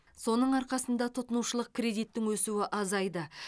соның арқасында тұтынушылық кредиттің өсуі азайды